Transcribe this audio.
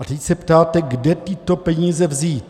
A teď se ptáte, kde tyto peníze vzít.